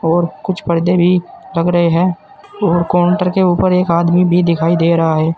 और कुछ पौधे भी लग रहे हैं और काउंटर के ऊपर एक आदमी भी दिखाई दे रहा है।